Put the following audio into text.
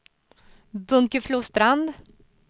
Bunkeflostrand